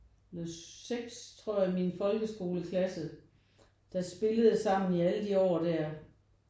Noget 6 i min folkeskoleklasse der spillede sammen i alle de år der